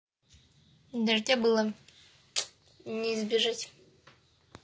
дождя было не избежать